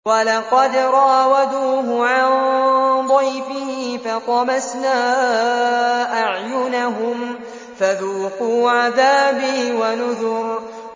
وَلَقَدْ رَاوَدُوهُ عَن ضَيْفِهِ فَطَمَسْنَا أَعْيُنَهُمْ فَذُوقُوا عَذَابِي وَنُذُرِ